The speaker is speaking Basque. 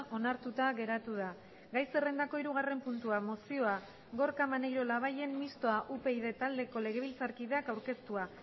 onartuta geratu da gai zerrendako hirugarren puntua mozioa gorka maneiro labayen mistoa upyd taldeko legebiltzarkideak aurkeztua